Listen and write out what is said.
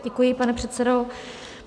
Děkuji, pane předsedo.